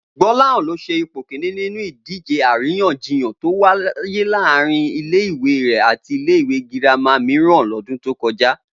Gbó̩láhàn ló s̩e ipò kìíní nínú ìdíje aláríyànjiyàn tó wáyé láàárín ile-ìwé rè̩ àti ilé-ìwé girama mìíràn lọ́dún tó kọjá